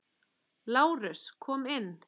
LÁRUS: Kom inn!